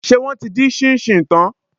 Ṣé wọ́n ti dín ṣíńṣíìn tán?